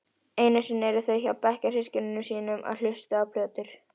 Einusinni eru þau hjá bekkjarsystkinum sínum að hlusta á plötur.